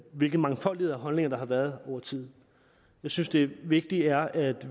hvilke mangfoldigheder og holdninger der har været over tid jeg synes det vigtige er at